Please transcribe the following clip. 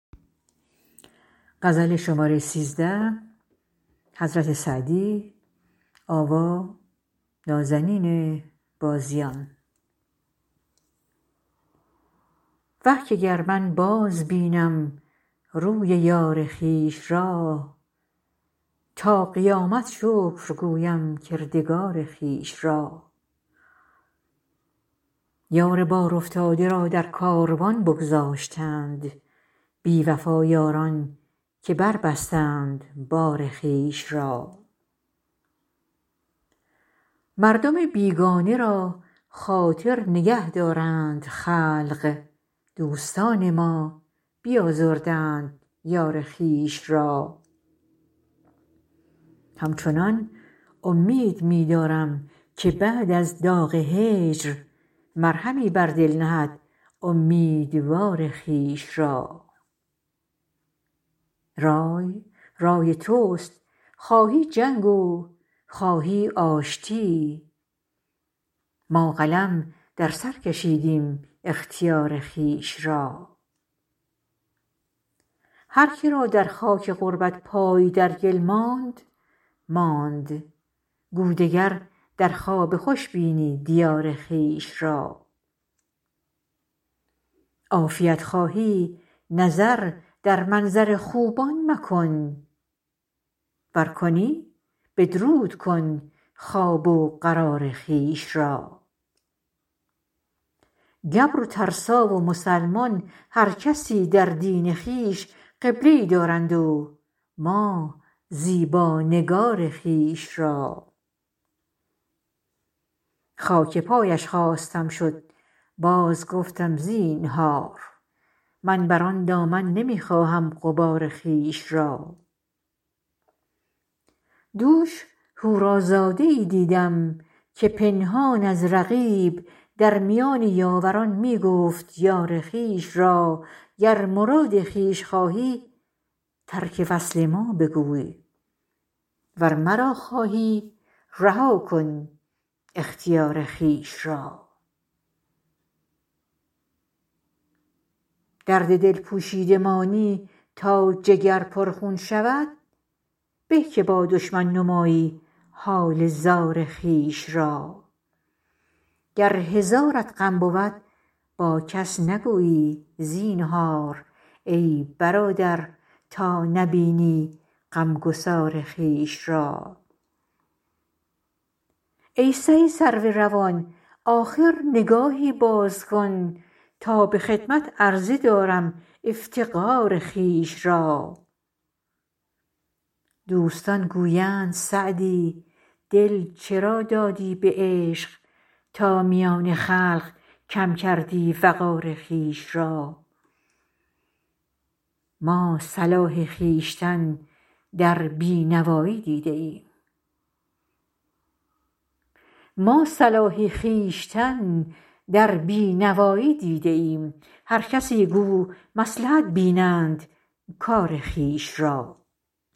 وه که گر من بازبینم روی یار خویش را تا قیامت شکر گویم کردگار خویش را یار بارافتاده را در کاروان بگذاشتند بی وفا یاران که بربستند بار خویش را مردم بیگانه را خاطر نگه دارند خلق دوستان ما بیازردند یار خویش را همچنان امید می دارم که بعد از داغ هجر مرهمی بر دل نهد امیدوار خویش را رای رای توست خواهی جنگ و خواهی آشتی ما قلم در سر کشیدیم اختیار خویش را هر که را در خاک غربت پای در گل ماند ماند گو دگر در خواب خوش بینی دیار خویش را عافیت خواهی نظر در منظر خوبان مکن ور کنی بدرود کن خواب و قرار خویش را گبر و ترسا و مسلمان هر کسی در دین خویش قبله ای دارند و ما زیبا نگار خویش را خاک پایش خواستم شد بازگفتم زینهار من بر آن دامن نمی خواهم غبار خویش را دوش حورازاده ای دیدم که پنهان از رقیب در میان یاوران می گفت یار خویش را گر مراد خویش خواهی ترک وصل ما بگوی ور مرا خواهی رها کن اختیار خویش را درد دل پوشیده مانی تا جگر پرخون شود به که با دشمن نمایی حال زار خویش را گر هزارت غم بود با کس نگویی زینهار ای برادر تا نبینی غمگسار خویش را ای سهی سرو روان آخر نگاهی باز کن تا به خدمت عرضه دارم افتقار خویش را دوستان گویند سعدی دل چرا دادی به عشق تا میان خلق کم کردی وقار خویش را ما صلاح خویشتن در بی نوایی دیده ایم هر کسی گو مصلحت بینند کار خویش را